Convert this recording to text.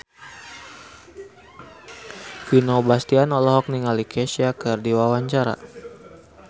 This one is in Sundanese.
Vino Bastian olohok ningali Kesha keur diwawancara